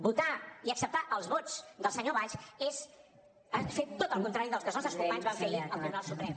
votar i acceptar els vots del senyor valls és fer tot el contrari del que els nostres companys van fer ahir al tribunal suprem